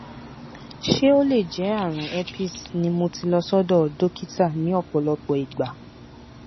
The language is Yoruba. ṣé ó lè jẹ àrùn herpes ni mo ti lọ sọdọ dókítà ní ọpọlọpọ ìgbà